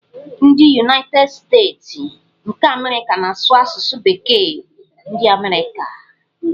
Ndị Yunaited Steeti nke Amerịka na-asụ asụsụ bekee ndi amerika.